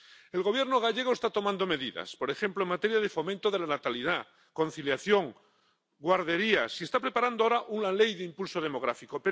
El Gobierno gallego está tomando medidas —por ejemplo, en materia de fomento de la natalidad, conciliación, guarderías— y está preparando ahora una ley de impulso demográfico.